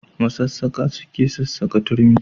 Masassaƙa suke sassaƙa turmi.